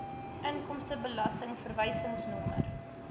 inkomstebelasting verwysingsnommer